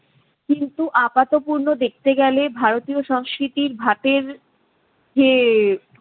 কিন্তু আপাতপূর্ণ দেখতে গেলে ভারতীয় সংস্কৃতির ভাতের যে~